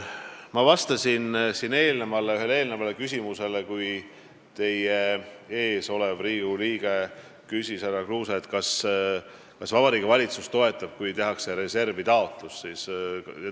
Ma vastasin enne teie ees istuva Riigikogu liikme härra Kruuse küsimusele, kas Vabariigi Valitsus toetab, kui tehakse reservitaotlus.